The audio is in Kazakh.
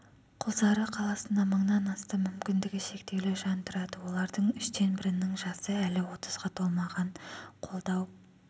құлсары қаласында мыңнан астам мүмкіндігі шектеулі жан тұрады олардың үштен бірінің жасы әлі отызға толмаған қолдау